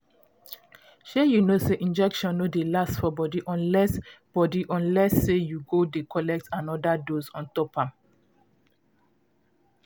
shay you know say injection no dey last for body unless body unless say you go dey collect anoda dose ontop am